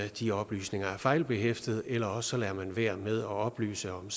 de oplysninger er fejlbehæftet eller også lader man være med at oplyse om